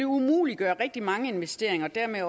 umuliggøre rigtig mange investeringer og dermed